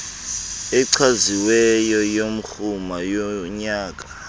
echaziweyo yomrhumo wonyaka